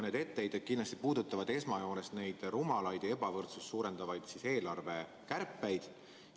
Meie etteheited puudutavad esmajoones neid rumalaid ja ebavõrdsust suurendavaid eelarvekärpeid.